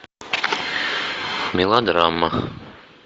мелодрама